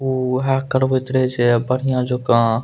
उ उहे करवेएत रहे छैये बढ़ियां जोका।